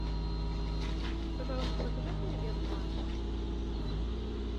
пожалуйста закажи мне обед в номер